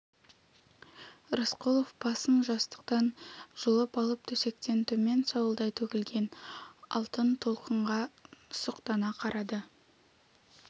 рысқұлов басын жастықтан жұлып алып төсектен төмен сауылдай төгілген алтын толқынға сұқтана қарады